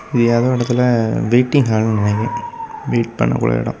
இது ஏதோ எடத்துல வைட்டிங் ஹால்னுவாய்க . வெயிட் பண்ணக்கூடிய எடோ.